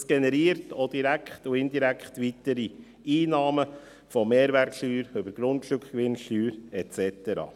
Das generiert zudem direkt und indirekt weitere Einnahmen, von der Mehrwertsteuer bis zur Grundstückgewinnsteuer et cetera.